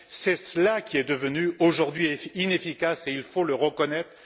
C'est cela qui est devenu aujourd'hui inefficace et il faut le reconnaître.